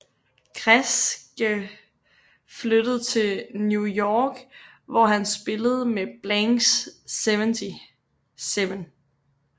Kresge flyttede til New York hvor han spillede med Blanks 77